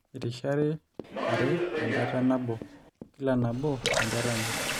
eirisharri are tenjata nabo kila nabo tenjoto enye